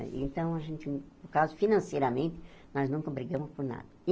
Então, a gente no caso financeiramente, nós nunca brigamos por nada.